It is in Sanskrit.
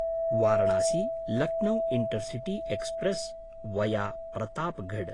Varanasi Lucknow intercity express via Pratapgarh